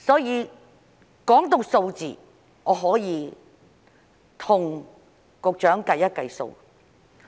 談及數字，我可以跟局長計算一下。